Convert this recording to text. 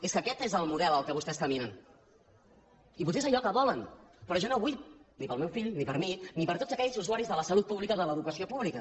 és que aquest és el model cap al qual vostès caminen i potser és allò que volen però jo no ho vull ni per al meu fill ni per a mi ni per a tots aquells usuaris de la salut pública o de l’educació pública